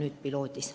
See on võimalus!